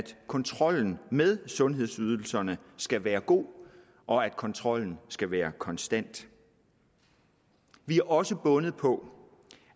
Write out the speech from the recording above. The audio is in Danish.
kontrollen med sundhedsydelserne skal være god og at kontrollen skal være konstant vi er også bundet